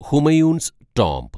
Humayun's tomb